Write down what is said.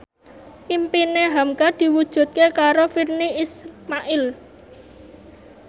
impine hamka diwujudke karo Virnie Ismail